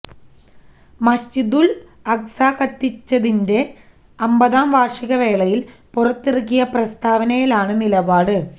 മസ്ജിദുൽ അഖ്സ കത്തിച്ചതിന്റെ അമ്പതാം വാർഷിക വേളയിൽ പുറത്തിറക്കിയ പ്രസ്താവനയിലാണ് നിലപാട്